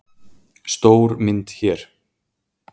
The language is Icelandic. Stór mynd hér.